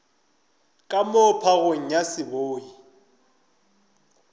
ka moo phagong ya seboi